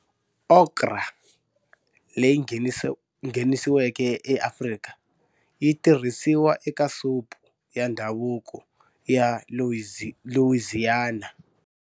Okra, leyi nghenisiweke eAfrika, yi tirhisiwa eka supu ya ndhavuko ya Louisiana.